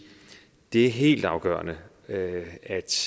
det er helt afgørende at